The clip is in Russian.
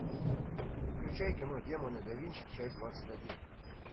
включай кино демоны да винчи часть двадцать один